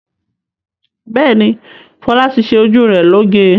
Bẹ́ẹ̀ni, Fọlá ti ṣe ojú rẹ̀ lóge.